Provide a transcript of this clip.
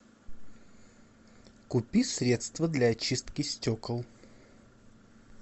купи средство для очистки стекол